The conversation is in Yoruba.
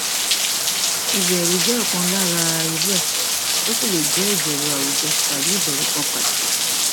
ìbẹrù jẹ ọkan lára irú rẹ ó sì lè jẹ ìbẹrù àwùjọ tàbí ìbẹrù kan pàtó